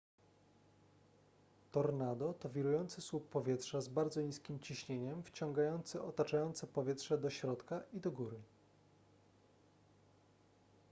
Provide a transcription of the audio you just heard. tornado to wirujący słup powietrza z bardzo niskim ciśnieniem wciągający otaczające powietrze do środka i do góry